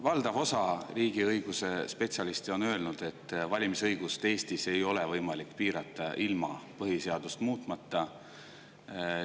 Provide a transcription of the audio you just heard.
Valdav osa riigiõiguse spetsialiste on öelnud, et valimisõigust ei ole Eestis võimalik piirata ilma põhiseadust muutmata.